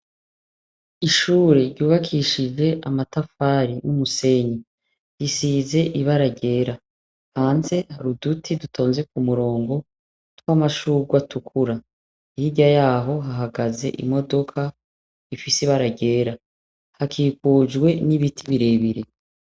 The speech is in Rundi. Ishure ryubakishije amatafari n'umusenyi, risize ibara ryera, hanze hari uduti dutonze k'umurongo tw'amashurwe atukura, hirya yaho hahagaze imodoka rifise ibara ryera hakikujwe n'ibiti birebire.